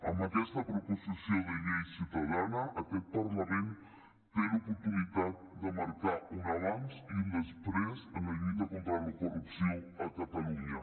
amb aquesta proposició de llei ciutadana aquest parlament té l’oportunitat de marcar un abans i un després en la lluita contra la corrupció a catalunya